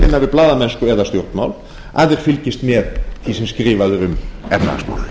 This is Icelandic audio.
við blaðamennsku eða stjórnmál að við fylgjumst með því sem skrifað er um efnahagsmál